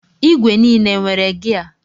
Igwe n'ile enwere gia?